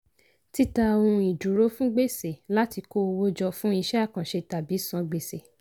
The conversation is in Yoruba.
títa ohun ìdúró fún gbèsè láti kó owó jọ fún iṣẹ́ àkànṣe tàbí san gbèsè.